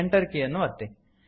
Enter ಕೀಯನ್ನು ಒತ್ತಿ